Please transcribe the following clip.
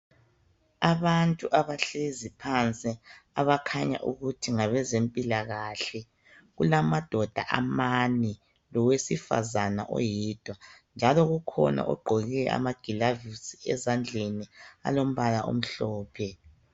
abantu abahlezi phansi abakhanya ukuthi ngabezempilakahle kulamadoda amane lwesifazana oyedwa njalo kukhona ogqoke amagilavisi ezandleni alombala omhlophe